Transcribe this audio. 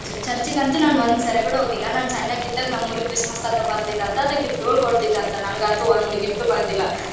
ಚರ್ಚಿಗ್ ಅಂತು ನಾನ್ ಒಂದ್ಸರಿ ಕೂಡ ನು ಹೋಗಿಲ್ಲಾ ನಾನ್ ಸಣ್ಣಕ್ಕಿದ್ದಾಗ ನಮ್ ಊರಿಗ್ ಕ್ರಿಸ್ ಮಸ್ ತಾತ ಬರ್ತಿದನಂತೆ ಗಿಫ್ಟ್ ನು ಕೊಡ್ತಿದ್ನಂತೆ ನನಿಗಂತು ಒಂದ್ ಗಿಫ್ಟ್ ಬಂದಿಲ್ಲಾ .